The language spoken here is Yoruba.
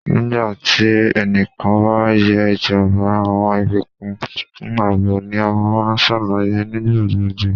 Nigba ti ẹnikan ba ye ijamba, awọn ibukun fun aabo ni a maa n ṣalaye nigbagbogbo